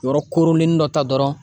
Yɔrɔ koronlenni dɔ ta dɔrɔn